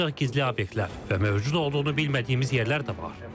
Ancaq gizli obyektlər və mövcud olduğunu bilmədiyimiz yerlər də var.